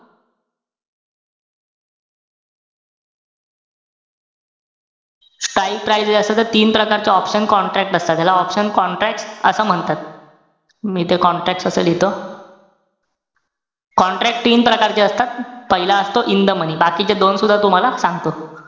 Strike prices असतात त तीन प्रकारचं option contract असतात. ह्याला option contract असं म्हणतात. मी इथे contracts असं लिहितो. contract तीन प्रकारचे असतात. पहिला असतो in the moeny. बाकीचे दोन सुद्धा तुम्हाला सांगतो.